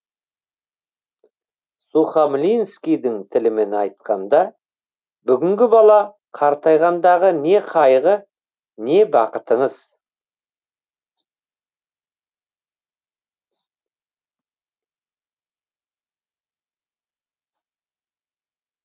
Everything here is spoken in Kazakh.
сухамлинскийдің тілімен айтқанда бүгінгі бала қартайғандағы не қайғы не бақытыңыз